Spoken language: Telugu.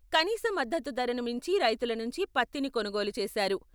కనీస మద్దతు ధరను మించి రైతులనుంచి పత్తిని కొనుగోలు చేసారు.